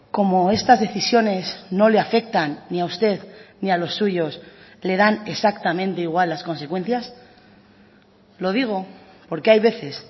como estas decisiones no le afectan ni a usted ni a los suyos le dan exactamente igual las consecuencias lo digo porque hay veces